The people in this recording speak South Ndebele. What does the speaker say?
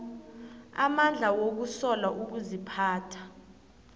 amandla wokusola ukuziphatha